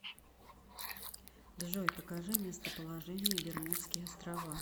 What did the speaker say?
джой покажи местоположение бермудские острова